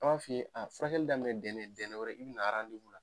An b'a f'i ye, na furakɛli daminɛ dɛnɛ, dɛnɛ wɛrɛ i bɛ na la.